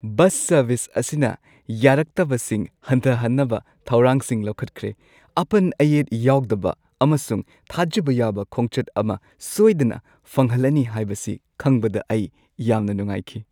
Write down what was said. Bus service, ꯑꯁꯤꯅ ꯌꯥꯔꯛꯇꯕꯁꯤꯡ ꯍꯟꯊꯍꯟꯅꯕ ꯊꯧꯔꯥꯡꯁꯤꯡ ꯂꯧꯈꯠꯈ꯭ꯔꯦ, ꯑꯄꯟ-ꯑꯌꯦꯠ ꯌꯥꯎꯗꯕ ꯑꯃꯁꯨꯡ ꯊꯥꯖꯕ ꯌꯥꯕ ꯈꯣꯡꯆꯠ ꯑꯃ ꯁꯣꯏꯗꯅ ꯐꯪꯍꯜꯂꯅꯤ ꯍꯥꯏꯕꯁꯤ ꯈꯪꯕꯗ ꯑꯩ ꯌꯥꯝꯅ ꯅꯨꯡꯉꯥꯏꯈꯤ꯫